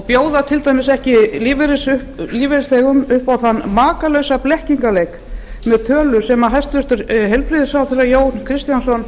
bjóða til dæmis ekki lífeyrisþegum upp á þann makalausa blekkingarleik með tölur sem hæstvirtur heilbrigðisráðherra jón kristjánsson